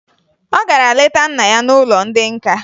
Ọ gara leta nna ya n'ụlọ ndị nka